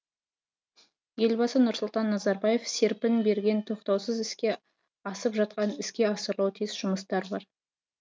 елбасы нұрсұлтан назарбаев серпін берген тоқтаусыз іске асып жатқан іске асырылуы тиіс жұмыстар бар